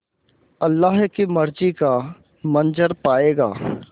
अल्लाह की मर्ज़ी का मंज़र पायेगा